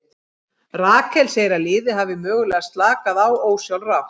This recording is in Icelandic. Rakel segir að liðið hafi mögulega slakað á ósjálfrátt.